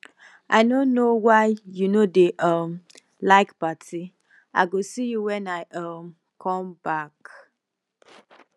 i no know why you no dey um like party i go see you when i um come back